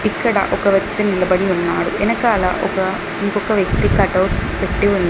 ఇక్కడ ఒక వ్యక్తి నిలబడి ఉన్నాడు ఎనకాల ఒక ఇంకొక వ్యక్తి కటౌట్ పెట్టి ఉంది.